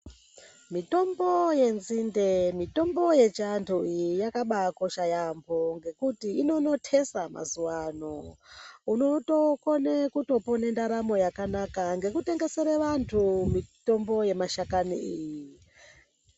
Mitombo yenzinde mutombo yechiantu iyi yakabakosha yampo ngekuti inonotesa mazuwa ano unotokone kutopone ndaramo yakanaka ngekuten gesere vantu mutombo yemashakani iyi.